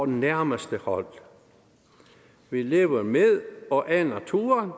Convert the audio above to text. nærmeste hold vi lever med og af naturen